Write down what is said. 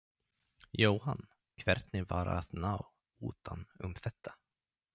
Jóhann: Hvernig var að ná utan um þetta?